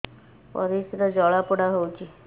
ପରିସ୍ରା ଜଳାପୋଡା ହଉଛି